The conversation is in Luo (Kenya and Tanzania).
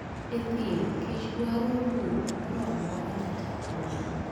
E thim kich dwaro bur moroamora kata holo